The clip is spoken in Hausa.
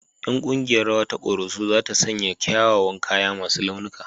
Ƴan ƙungiyar rawa ta Koroso za ta sanya kyawawan kaya masu launuka